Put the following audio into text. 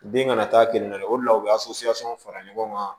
Den ka na taa kenin la o de la u be fara ɲɔgɔn kan